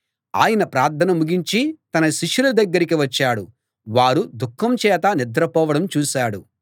ఆయన ప్రార్థన ముగించి తన శిష్యుల దగ్గరికి వచ్చాడు వారు దుఃఖంచేత నిద్రపోవడం చూశాడు